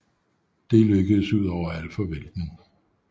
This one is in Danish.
Det lykkedes ud over al forventning